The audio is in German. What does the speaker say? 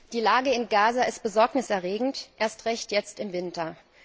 Die Lage in Gaza ist besorgniserregend, erst recht jetzt im Winter.